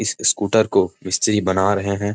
इस स्कूटर को मिस्त्री बना रहें हैं।